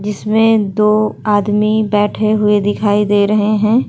जिसमें दो आदमी बैठे हुए दिखाई दे रहे हैं।